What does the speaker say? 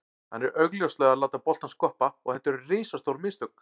Hann er augljóslega að láta boltann skoppa og þetta eru risastór mistök.